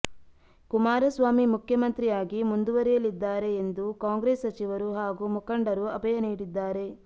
ಕುಮಾರಸ್ವಾಮಿ ಮುಖ್ಯಮಂತ್ರಿ ಆಗಿ ಮುಂದುವರಿಯಲಿದ್ದಾರೆ ಎಂದು ಕಾಂಗ್ರೆಸ್ ಸಚಿವರು ಹಾಗೂ ಮುಖಂಡರು ಅಭಯ ನೀಡಿದ್ದಾರೆ